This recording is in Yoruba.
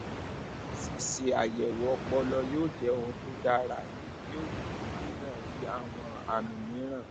ṣíṣe àyẹwò ọpọlọ yóò jẹ ohun tó dára èyí yóò gbégi dínà rírí àwọn àmì mìíràn